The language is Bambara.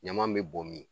Ɲama be bɔn min